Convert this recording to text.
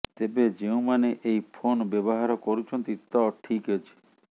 ତେବେ ଯେଉଁମାନେ ଏହି ଫୋନ୍ ବ୍ୟବହାର କରୁଛନ୍ତି ତ ଠିକ୍ ଅଛି